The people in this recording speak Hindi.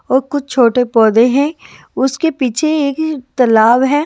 और कुछ छोटे पौधे हैं उसके पीछे ए-एक तालाब है।